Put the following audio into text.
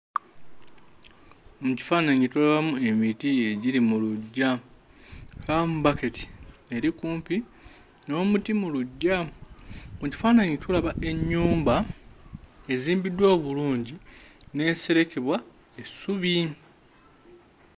Mu kifaananyi tulabamu emiti egiri mu luggya. Tulabamu bbaketi eri kumpi n'omuti mu luggya. Mu kifaananyi tulaba ennyumba ezimbiddwa obulungi n'eserekebwa essubi.